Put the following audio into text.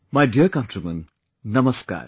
My dear countrymen Namaskar